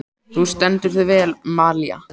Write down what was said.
Þú stendur þig vel, Malía!